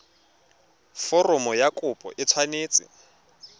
foromo ya kopo e tshwanetse